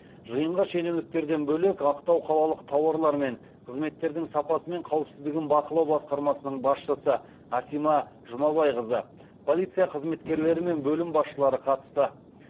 жиынға шенеуніктерден бөлек ақтау қалалық тауарлар мен қызметтердің сапасы мен қауіпсіздігін бақылау басқармасының басшысы асима жұмабайқызы полиция қызметкелері мен бөлім басшылары қатысты